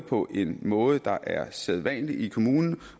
på en måde der både er sædvanlig i kommunen